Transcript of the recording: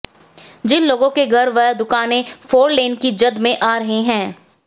जिन लोगों के घर व दुकानें फोरलेन की जद में आ रहे हैं